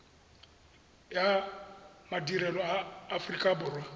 ya madirelo a aforika borwa